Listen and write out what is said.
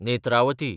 Netravathi